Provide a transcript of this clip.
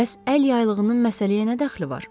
Bəs əl yaylığının məsələyə nə dəxli var?